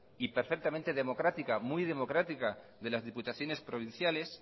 y perfectamente democrática muy democrática de las diputaciones provinciales